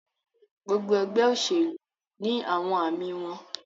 Gbogbo ẹgbẹ oṣelu ni awọn aami wọn